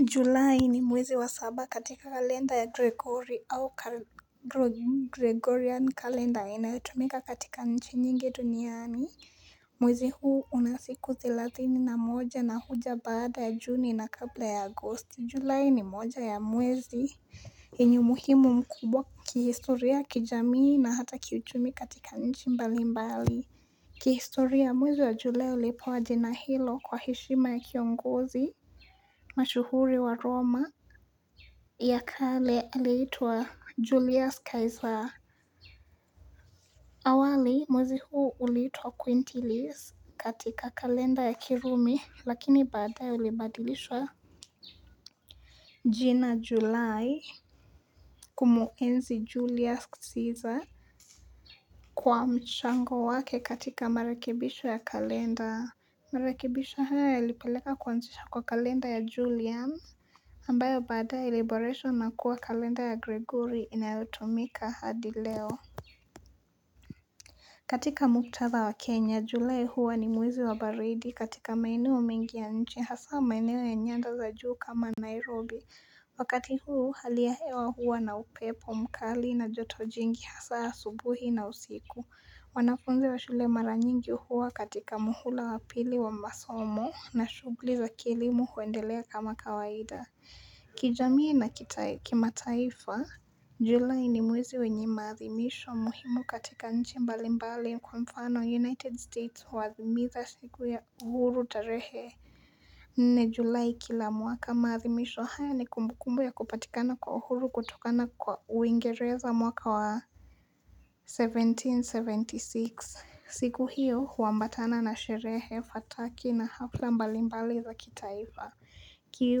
Julai ni mwezi wa saba katika kalenda ya Gregori au Gregorian kalenda inatumika katika nchi nyingi duniani. Mwezi huu unasiku thilathini na moja na huja baada ya juni na kabla ya agosti. Julai ni mmoja ya mwezi. Hinyo muhimu mkubwa kihistoria kijamii na hata kiuchumi katika nchi mbali mbali. Kihistoria mwezi wa jule ulipo wa jina hilo kwa hishima ya kiongozi. Mashuhuri wa Roma ya kale liitua Julius Caesar awali mwzi huu uliitua Quinterley's katika kalenda ya kirumi lakini bada ya ulibadilishwa jina July kumuenzi Julius Caesar Kwa mshango wake katika marakibisho ya kalenda Marakibisho haya ya lipeleka kwanzisha kwa kalenda ya Julian ambayo bada iliboresho na kuwa kalenda ya gregory inayotumika hadileo katika muktatha wa kenya julae huwa ni mwizi wa baridi katika maine wa mingi ya nchi hasa wa maine wa nyanda za juu kama nairobi wakati huu haliahewa huwa na upepo mkali na joto jingi hasa ya subuhi na usiku wanafunze wa shule mara nyingi huwa katika muhula wa pili wa masomo na shugli za kilimu kuendelea kama kawaida Kijamie na kima taifa Julai ni mwizi wenye maathimisho muhimu katika nchi mbalimbali kwa mfano United States wathimitha siku ya uhuru tarehe Nne Julai kila mwaka maathimisho haya ni kumbukumbu ya kupatikana kwa uhuru kutokana kwa uingereza mwaka wa Seventeen seventy six siku hiyo huambatana na sherehe fataki na hafla mbalimbali za kitaifa ki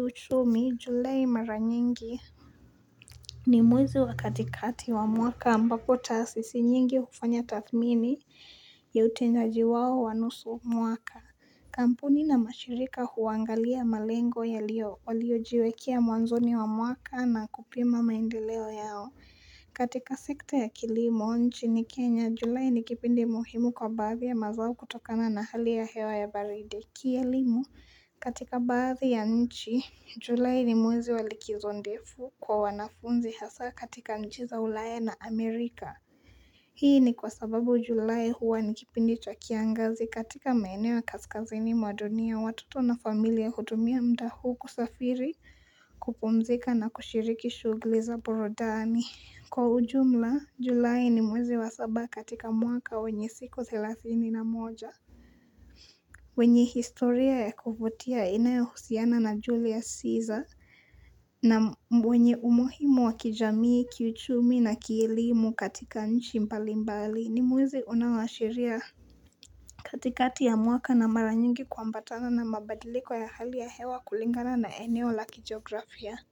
uchumi, julei mara nyingi ni mwezi wa katikati wa mwaka ambako taasisi nyingi hufanya tathmini ya utenjaji wao wanusu mwaka Kampuni na mashirika huangalia malengo ya lio waliojiwekia mwanzoni wa mwaka na kupima maindeleo yao katika sekta ya kilimu, nchi ni Kenya, julei nikipindi muhimu kwa bathi ya mazau kutokana na hali ya hewa ya baridi Kialimu katika bathi ya nchi Julai ni mwezi walikizondefu kwa wanafunzi hasa katika njiza ulae na Amerika Hii ni kwa sababu Julai huwa nikipindi chakiangazi katika maene wa kaskazini mwadonia watuto na familia hudumia mdahu kusafiri kupumzika na kushiriki shugleza borodani Kwa ujumla Julai ni mwezi wa saba katika muaka wenye siku thilathini na moja wenye historia ya kufutia inayohusiana na julius caesar na mwenye umohimu wa kijamii kiuchumi na kielimu katika nchi mpalimbali ni muwezi unawashiria katikati ya muaka na maranyungi kwa ambatana na mabadilikuwa ya hali ya hewa kulingana na eneo la kijiografia.